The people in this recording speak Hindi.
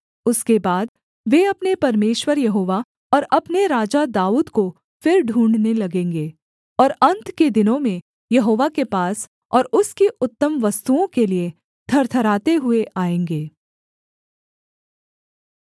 उसके बाद वे अपने परमेश्वर यहोवा और अपने राजा दाऊद को फिर ढूँढ़ने लगेंगे और अन्त के दिनों में यहोवा के पास और उसकी उत्तम वस्तुओं के लिये थरथराते हुए आएँगे